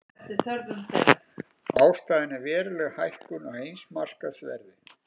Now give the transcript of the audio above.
Ástæðan er veruleg hækkun á heimsmarkaðsverði